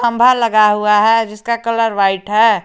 लगा हुआ है जिसका कलर व्हाइट है।